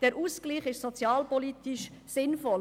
Der Ausgleich ist sozialpolitisch sinnvoll.